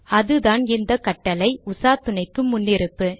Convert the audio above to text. அதுதான் இந்த கட்டளை - உசாத்துணைக்கு முன்னிருப்பு